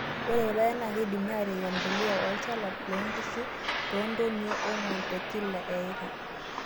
Ore irpaek naa keidimi atipik empuliya olchala loonkishu too ntonii ong'wan tekila eika.